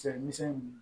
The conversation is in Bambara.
Cɛmisɛn nunnu